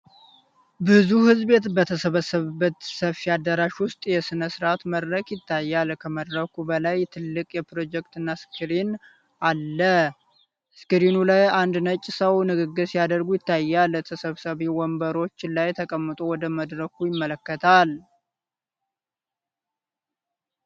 ብዙ ሕዝብ በተሰበሰበበት ሰፊ አዳራሽ ውስጥ የሥነ-ሥርዓት መድረክ ይታያል። ከመድረኩ በላይ ትልቅ የፕሮጀክተር ስክሪን አለ፤ ስክሪኑ ላይ አንድ ነጭ ሰው ንግግር ሲያደርግ ይታያል። ተሰብሳቢው ወንበሮች ላይ ተቀምጦ ወደ መድረኩ ይመለከታል።